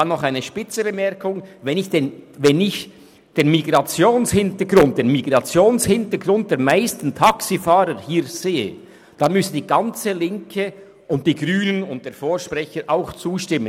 Noch eine spitze Bemerkung: Wenn ich den Migrationshintergrund der meisten Taxifahrer im Kanton betrachte, dann müsste die gesamte Linke, also auch die Grünen und der Vorredner ebenfalls zustimmen.